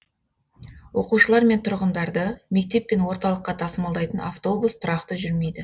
оқушылар мен тұрғындарды мектеп пен орталыққа тасымалдайтын автобус тұрақты жүрмейді